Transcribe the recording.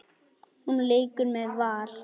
Hún leikur með Val.